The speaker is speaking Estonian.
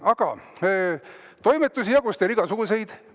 Aga toimetusi jagus teil igasuguseid.